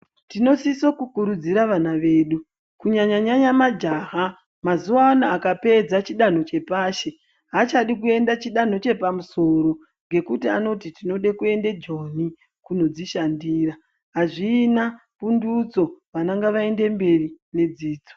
Tinosisa kukurudzira vana vedu kunyanya nyanya majaha mazuwa anawa akapedza chidanho chepasi aachadi kuenda chidanho chepamusoro ngekuti anoti anoda kuenda joni kunodzishandisa azvina wundutso vana ngavaende mberi nedzidzo.